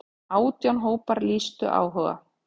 Átján hópar lýstu áhuga.